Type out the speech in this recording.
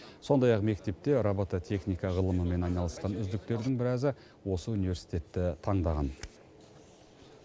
сондай ақ мектепте робототехника ғылымымен айналысқан үздіктердің біразы осы университетті таңдаған